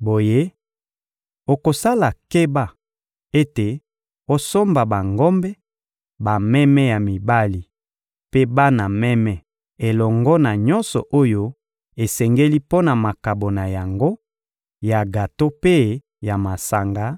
Boye, okosala keba ete osomba bangombe, bameme ya mibali mpe bana meme elongo na nyonso oyo esengeli mpo na makabo na yango ya gato mpe ya masanga,